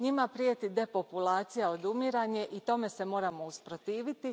Njima prijeti depopulacija, odumiranje i tome se moramo usprotiviti.